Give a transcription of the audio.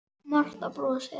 Marta brosir.